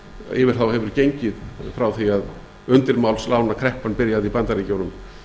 yfir þá hefur gengið frá því að undirmálslánakreppan byrjaði í bandaríkjunum